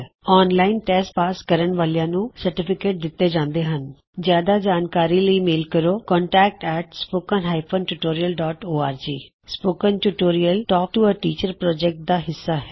online test pass ਕਰਨ ਵਾਲਿਆਂ ਨੂੰ ਸਰਟੀਫਿਕੇਟ ਦਿੱਤੇ ਜਾਂਦੇ ਹਨ ਜਿਆਦਾ ਜਾਣਕਾਰੀ ਲਈ ਈ ਮੇਲ ਕਰੋ contactspoken tutorialorg spoken tutorial talk to a teacher project ਦਾ ਹਿੱਸਾ ਹੈ